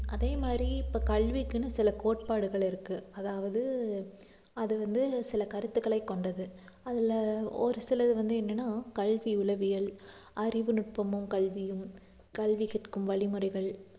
அதே மாதிரி இப்ப கல்விக்குன்னு சில கோட்பாடுகள் இருக்கு அதாவது அது வந்து சில கருத்துக்களை கொண்டது அதுல ஒரு சிலது வந்து என்னன்னா கல்வி உளவியல், அறிவுநுட்பமும் கல்வியும், கல்வி கற்கும் வழிமுறைகள்